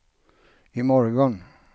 imorgon